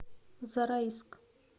зарайск